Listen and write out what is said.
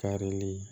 Karili